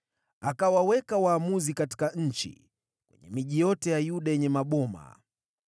Akawaweka waamuzi katika nchi, kwenye miji yote ya Yuda yenye maboma.